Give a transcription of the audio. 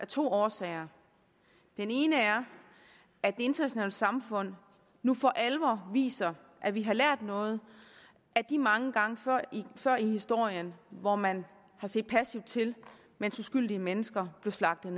to årsager den ene er at det internationale samfund nu for alvor viser at vi har lært noget af de mange gange før i historien hvor man har set passivt til mens uskyldige mennesker blev slagtet